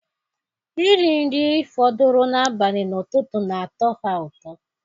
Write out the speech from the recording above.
Iri nri eri fọdụrụ na-abali n'ututu na atọ ha ụtọ